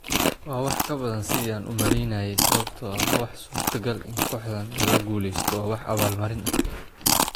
Waa wax ka badan sidii aan u maleynayay sababtoo ah waa suurtogal in kooxdan lala guuleysto waa wax abaal marin ah.